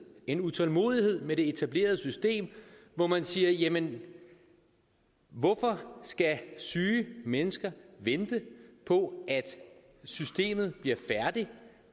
en utålmodighed med det etablerede system hvor man siger jamen hvorfor skal syge mennesker vente på at systemet bliver færdigt